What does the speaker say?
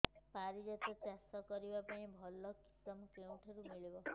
ପାରିଜାତ ଚାଷ କରିବା ପାଇଁ ଭଲ କିଶମ କେଉଁଠାରୁ ମିଳିବ